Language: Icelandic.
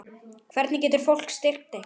Hvernig getur fólk styrkt ykkur?